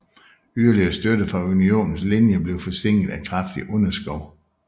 Yderligere støtte fra Unionens linje blev forsinket af kraftig underskov